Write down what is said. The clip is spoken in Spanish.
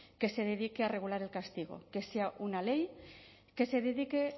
que se dedique a regular el castigo que sea una ley que se dedique